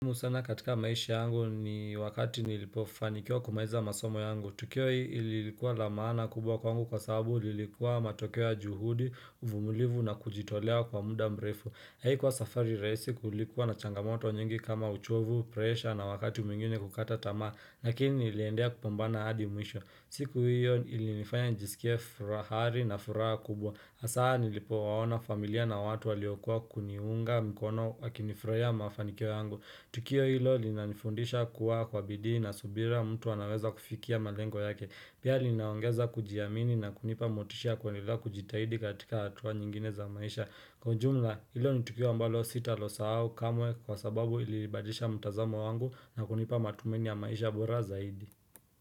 Musana katika maishi yangu ni wakati nilipofanikiwa kumaliza masomo yangu Tukio hii ilikuwa la maana kubwa kwa angu kwa sababu lilikuwa matokeo ya juhudi, uvumulivu na kujitolea kwa muda mrefu Haikuwa safari rahisi kulikuwa na changamoto nyingi kama uchovu, presha na wakati mwingine kukata tamaa lakini niliendea kupambana hadi mwisho siku hiyo ili nifanya njisikie furaha na furaha kubwa Asa nilipo waona familia na watu waliokua kuniunga mkono wakinifurahia mafanikio yangu Tukio ilo lina nifundisha kuwa kwa bidii na subira mtu wanaweza kufikia malengo yake. Pia linaongeza kujiamini na kunipa motishia ya kuendelea kujitahidi katika hatua nyingine za maisha. Kwa jumla ilo ni tukio ambalo sita lo sawo kamwe kwa sababu ilibadisha mtazamo wangu na kunipa matumaini ya maisha bora zaidi.